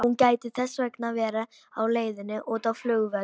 Hún gæti þess vegna verið á leiðinni út á flugvöll.